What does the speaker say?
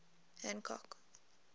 hancock